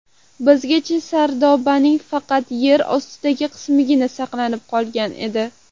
Bizgacha sardobaning faqat yer ostidagi qismigina saqlanib qolgan edi.